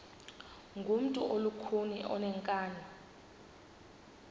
ngumntu olukhuni oneenkani